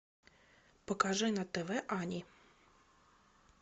покажи на тв ани